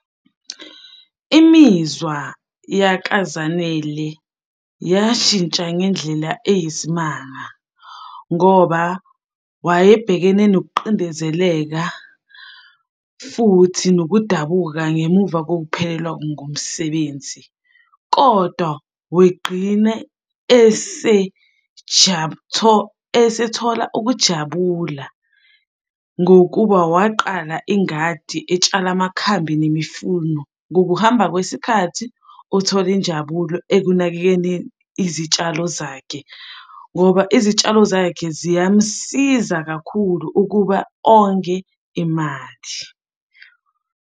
Imizwa yakaZanele yashintsha ngendlela eyisimanga ngoba wayebhekene nokuqindezeleka, futhi nokudabuka ngemuva kokuphelelwa ngumsebenzi, kodwa wegqine esethola ukujabula ngokuba waqala ingadi etshala amakhambi nemifuno. Ngokuhamba kwesikhathi, uthole injabulo ekunakekeleni izitshalo zakhe ngoba izitshalo zakhe ziyamusiza kakhulu ukuba onge imali.